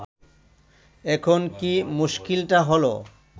এখন কি মুশকিলটা হল